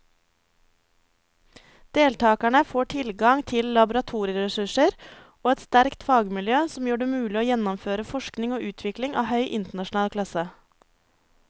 Deltakerne får tilgang til laboratorieressurser og et sterkt fagmiljø som gjør det mulig å gjennomføre forskning og utvikling av høy internasjonal klasse.